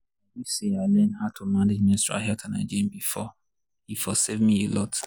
i wish say i learn how to manage menstrual health and hygiene before e for save me a lot.